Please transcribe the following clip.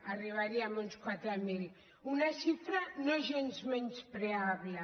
arribaríem a uns quatre mil una xifra no gens menyspreable